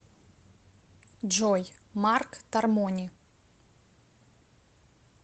джой марк тармони